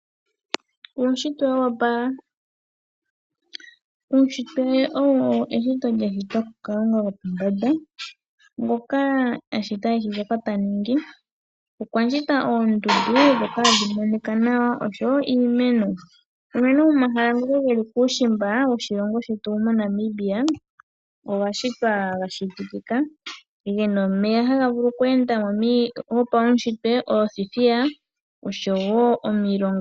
Uushitwe wa opala. Uushitwe owo eshito lyashitwa ku Kalunga gwopombanda ngoka ashita eahi shoka taningi. Okwashita oondundu ndhoka hadhi monika nawa oshowo iimeno unene komahala ngoka geli kuushimba woshilongo shetu Namibia ogashitwa ga shititika ,gena omeya haga vulu oku enda gopaushitwe, oothithiya oshowow omilonga.